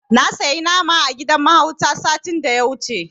Na sayi nama a gidan mahautan satin da ya wuce.